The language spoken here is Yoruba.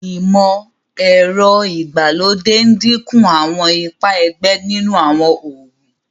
imọ-ẹrọ ìgbàlódé n dínkù Àwọn ipá ẹgbẹ nínú àwọn oògùn.